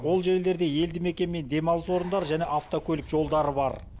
ол жерлерде елді мекен мен демалыс орындары және автокөлік жолдары бар